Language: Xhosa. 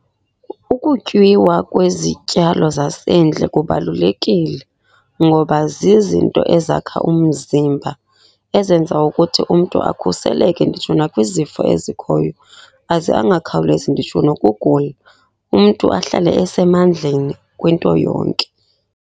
Ukutyiwa kwezityalo zasendle kubalulekile ngoba zizinto ezakha umzimba. Ezenza ukuthi umntu akhuseleke nditsho na kwizifo ezikhoyo, aze angakhawulezi nditsho nokugula. Umntu ahlale esemandleni kwinto yonke.